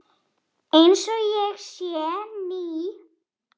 Einsog ég sé ný.